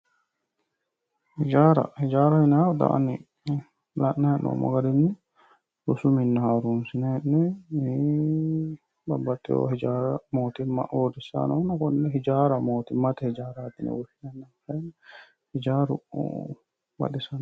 Hijaara ,hijaara yineemmohu xa la'nanni hee'noommo garinni rosu minna iih babbaxewa mootimma uurrisanni noonna konne hijaaraho mootimmate hijaarati yinne woshshinanni, hijaaru baxisano.